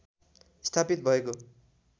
स्थापित भएको